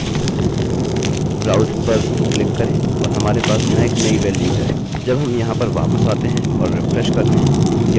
जब हम यहाँ पर वापस आते हैं और रिफ्रेशrefreshकरते हैं यह david green में बदल जाएगा